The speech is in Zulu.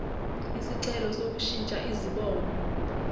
isicelo sokushintsha izibongo